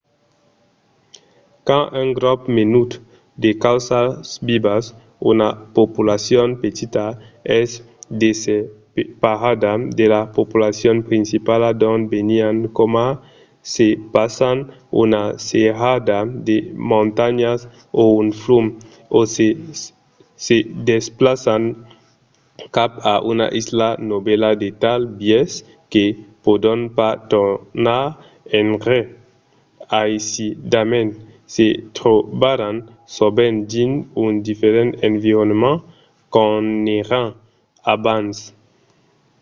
quand un grop menut de causas vivas una populacion petita es desseparada de la populacion principala d’ont venián coma se passan una serrada de montanhas o un flum o se se desplaçan cap a una isla novèla de tal biais que pòdon pas tornar enrè aisidament se trobaràn sovent dins un diferent environment qu'ont èran abans